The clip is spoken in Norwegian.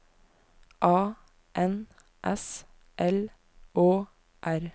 A N S L Å R